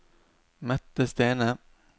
Mette Stene